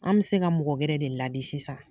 An bɛ se ka mɔgɔ wɛrɛ de ladi sisan.